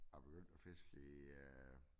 Jeg begyndte at fiske i øh